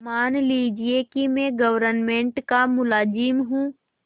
मान लीजिए कि मैं गवर्नमेंट का मुलाजिम हूँ